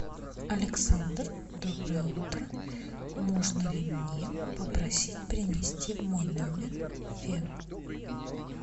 александр доброе утро можно ли мне попросить принести в мой номер фен